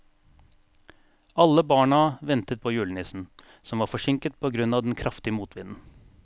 Alle barna ventet på julenissen, som var forsinket på grunn av den kraftige motvinden.